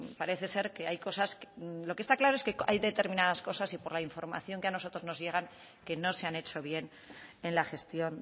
parece ser que hay cosas lo que está claro es que hay determinadas cosas y por la información que a nosotros nos llega que no se han hecho bien en la gestión